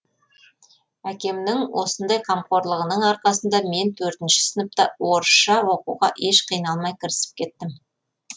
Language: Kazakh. әкемнің осындай қамқорлығының арқасында мен төртінші сыныпта орысша оқуға еш қиналмай кірісіп кеттім